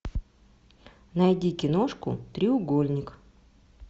найди киношку треугольник